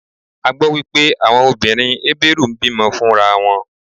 A gbó wípé àwọn obìnrin Hébérù ń bí mọ fún ra wọn.